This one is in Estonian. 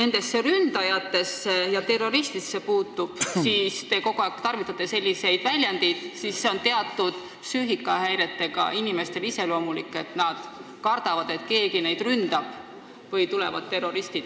Mis ründajatesse ja terroristidesse puutub – te kogu aeg tarvitate selliseid väljendeid –, siis see on iseloomulik teatud psüühikahäiretega inimestele, et nad kardavad, et keegi neid ründab või tulevad terroristid.